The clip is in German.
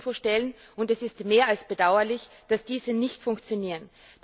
Infostellen, und es ist mehr als bedauerlich, dass diese nicht funktionieren.